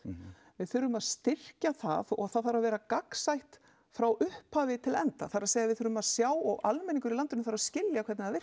við þurfum að styrkja það og það þarf að vera gagnsætt frá upphafi til enda það er við þurfum að sjá og almenningur í landinu þarf að skilja hvernig það